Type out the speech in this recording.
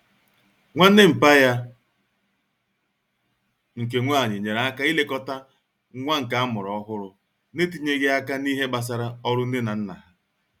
Nwanne mpa ya nke nwanyi nyere aka ilekota nwa nke amuru ohuru n'etinyeghi aka n'ihe gbasara oru Nne na Nna ha